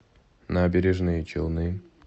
набережные челны